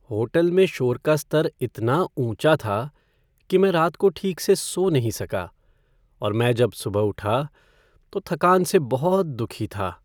Hotel में शोर का स्तर इतना ऊंचा था कि मैं रात को ठीक से सो नहीं सका और मैं जब सुबह उठा तो थकान से बहुत दुखी था।